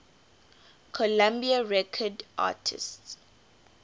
columbia records artists